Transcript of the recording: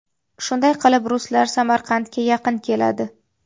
Shunday qilib ruslar Samarqandga yaqin keladi.